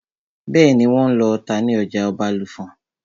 Bẹ́ẹ̀nì, wọ́n n lọ ata ní ọjà Ọbàlùfọ̀n